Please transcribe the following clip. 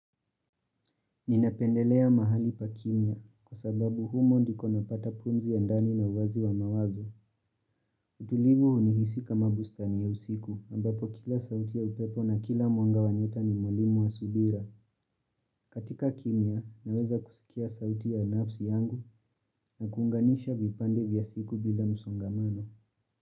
Ninapendelea mahali pa kimya kwa sababu humo ndiko napata pumzi ya ndani na uwazi wa mawazo. Utulivu unihisi kama bustani ya usiku ambapo kila sauti ya upepo na kila mwanga huleta mwalimu wa subira. Katika kimya naweza kusikia sauti ya nafsi yangu na kuunganisha vipande vya siku bila musongamano.